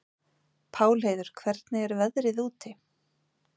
Pálheiður, hvernig er veðrið úti?